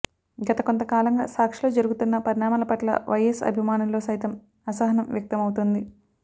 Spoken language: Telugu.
గత కొంత కాలంగా సాక్షిలో జరుగుతున్న పరిణామాల పట్ల వైఎస్ అభిమానుల్లో సైతం అసహనం వ్యక్తమవుతుంది